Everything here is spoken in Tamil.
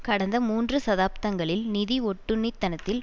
கடந்த மூன்று சதாப்தங்களில் நிதி ஒட்டுண்ணித்தனத்தில்